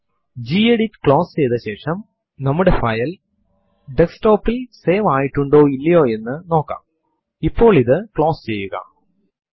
ഇത് യഥാർത്ഥത്തിൽ നിങ്ങളുടെ സിസ്റ്റം ഒരു മൾട്ടിയസർ സിസ്റ്റം ആണെങ്കിൽ സിസ്റ്റം ത്തിൽ ഇപ്പോൾ ലോഗിൻ ചെയ്തിട്ടുള്ള എല്ലാ യൂസർസ് ന്റെയും പേരു ചേർത്തിരിക്കുന്ന പട്ടികയുള്ള വ്ഹോ കമാൻഡ് ൽ നിന്നും വരുന്നതാണ്